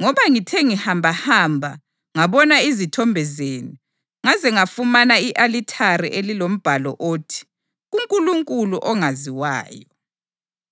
Ngoba ngithe ngihambahamba, ngabona izithombe zenu, ngaze ngafumana i-alithari elilombhalo othi: Kunkulunkulu Ongaziwayo.